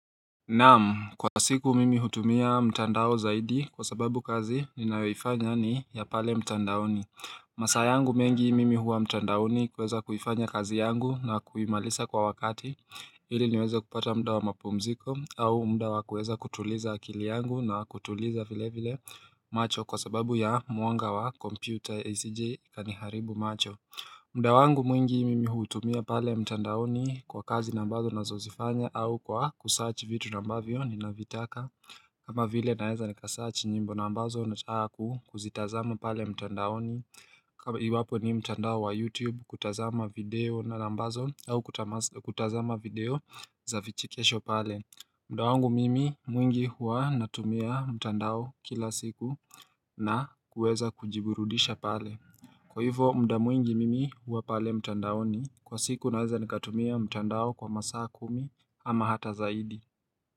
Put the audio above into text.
Naam, kwa siku mimi hutumia mtandao zaidi kwa sababu kazi ninayoifanya ni ya pale mtandaoni. Masaa yangu mengi mimi huwa mtandaoni kuweza kuifanya kazi yangu na kuimalisa kwa wakati. Hili niweze kupata mda wa mapumziko au mda wa kuweza kutuliza akili yangu na kutuliza vile vile macho kwa sababu ya muanga wa computer ACJ kani haribu macho. Mda wangu mwingi mimi hutumia pale mtandaoni kwa kazi nambazo na zozifanya au kwa kusaachi vitu nambavyo ni navitaka kama vile naeza nikasaachi nyimbo nambazo nataku kuzitazama pale mtandaoni kama iwapo ni mtandao wa youtube kutazama video na nambazo au kutazama video za vichikesho pale mda wangu mimi mwingi hua natumia mtandao kila siku na kuweza kujiburudisha pale Kwa hivyo mda mwingi mimi huwa pale mtandaoni kwa siku naweza nikatumia mtandao kwa masa kumi ama hata zaidi.